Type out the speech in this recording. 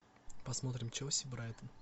посмотрим челси брайтон